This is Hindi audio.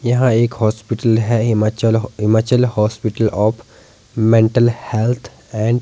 यहां एक हॉस्पिटल है Himachal Himachal hospital of mental health and --